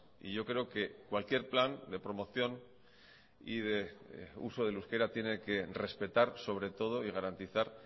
y yo creo que cualquier plan de promoción y de uso del euskera tiene que respetar sobre todo y garantizar